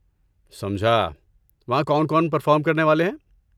سمجھا، وہاں کون کون پرفارم کرنے والے ہیں؟